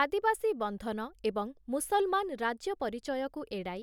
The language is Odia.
ଆଦିବାସୀ ବନ୍ଧନ ଏବଂ ମୁସଲମାନ ରାଜ୍ୟ ପରିଚୟକୁ ଏଡ଼ାଇ,